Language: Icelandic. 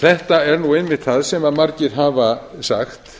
þetta er einmitt það sem margir hafa sagt